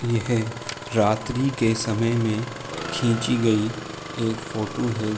यह रात्री के समय में खींची गयी एक फोटू है|